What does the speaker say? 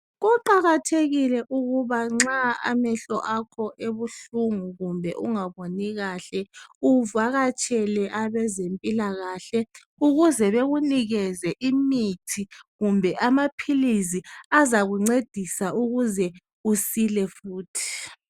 Kuqakathekile ukuba nxa amehlo akho ebuhlungu kumbe ungaboni kahle uvakatshele abezempilakahle ukuze bekunikeze imithi kumbe amaphilisi azakuncedisa ukuze usile futhi.